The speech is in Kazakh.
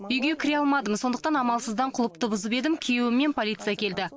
үйге кіре алмадым сондықтан амалсыздан құлыпты бұзып едім күйеуім мен полиция келді